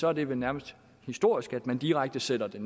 er det vel nærmest historisk at man direkte sætter det